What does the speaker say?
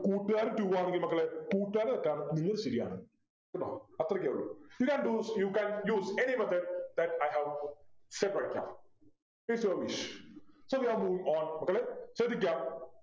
കൂട്ടുകാരനു two ആണെങ്കിൽ മക്കളെ കൂട്ടുകാരുടെ തെറ്റാണെന്ന് നിങ്ങൾ ശരിയാണ് കേട്ടോ അത്രക്കെ ഉള്ളു You can do you can use any method then I have said Is your wish so we are moving on മക്കളെ ശ്രദ്ധിക്ക